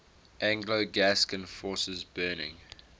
anglo gascon forces burning